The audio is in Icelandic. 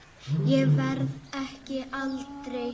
Ég verð ekki eldri.